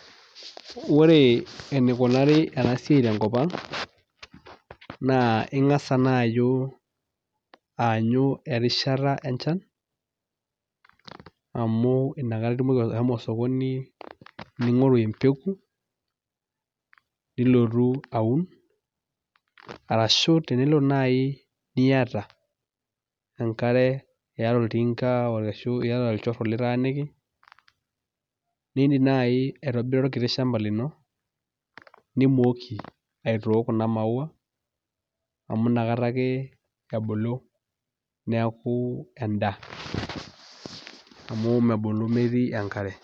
Ore enikunari ena siai tenkop ang' naa ing'asa naayu aanyu erishata enchan amu inakata itumoki ashomo osokoni ning'oru empeku, nilotu aun arashu tenelo nai niyata enkare, iyata olting'a, arashu iyata olchoro litaaniki, niindim nai aitobira orkiti shamba lino nimooki aitook kuna maua amu inakata ake ebulu neeku endaa amu mebulu metii enkare.